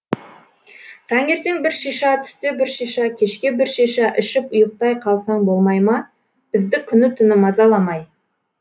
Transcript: таңертең бір шиша түсте бір шиша кешке бір шиша ішіп ұйықтай қалсаң болмай ма бізді күні түні мазаламай